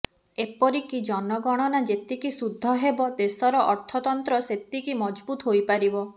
ଏପରିକି ଜନଗଣନା ଯେତିକି ସୁଦ୍ଧ ହେବ ଦେଶର ଅର୍ଥତନ୍ତ୍ର ସେତିକି ମଜଭୁତ ହୋଇପାରିବ